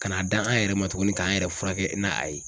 Ka n'a d'a an yɛrɛ ma tuguni k'an yɛrɛ furakɛ n'a a ye